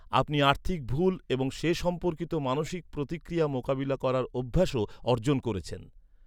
আপনি আর্থিক ভুল এবং সে সম্পর্কিত মানসিক প্রতিক্রিয়া মোকাবিলা করার অভ্যাসও অর্জন করেছেন।